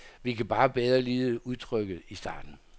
Vi kan bare bedre lide udtrykket i starten.